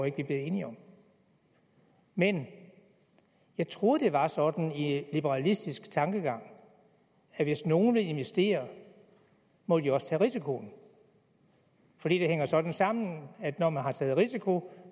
ikke vi bliver enige om men jeg troede at det var sådan i liberalistisk tankegang at hvis nogen vil investere må de også tage risikoen fordi det hænger sådan sammen at når man har taget risiko